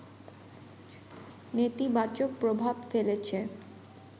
নেতিবাচক প্রভাব ফেলেছে